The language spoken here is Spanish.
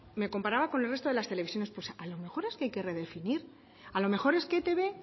me comparaba con el recto de las televisiones pues a lo mejor es que hay que redefinir a lo mejor es que etb